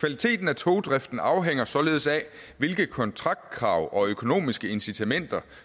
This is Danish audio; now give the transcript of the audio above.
kvaliteten af togdriften afhænger således af hvilke kontraktkrav og økonomiske incitamenter